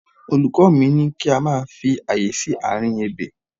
Olùkọ́ mi ní kí a máa fi àyè sí àárín ebè.